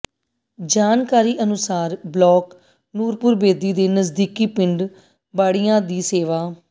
ਜਾਣਕਾਰੀ ਅਨੁਸਾਰ ਬਲਾਕ ਨੂਰਪੁਰਬੇਦੀ ਦੇ ਨਜ਼ਦੀਕੀ ਪਿੰਡ ਬਾੜੀਆਂ ਦੇ ਸੇਵਾ